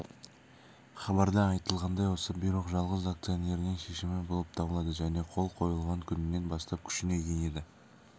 хабарда айтылғандай осы бұйрық жалғыз акционерінің шешімі болып табылады және қол қойылған күнінен бастап күшіне енеді